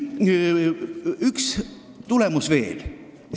Üks tulemus on veel.